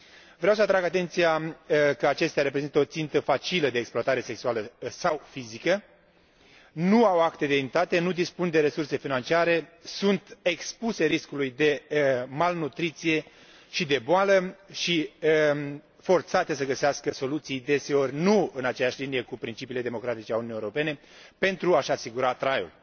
Vreau să atrag atenția că acestea reprezintă o țintă facilă de exploatare sexuală sau fizică, nu au acte de identitate, nu dispun de resurse financiare, sunt expuse riscului de malnutriție și de boală și forțate să găsească soluții deseori nu în aceeași linie cu principiile democratice ale Uniunii Europene pentru a și asigura traiul.